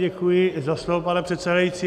Děkuji za slovo, pane předsedající.